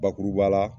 Bakuruba la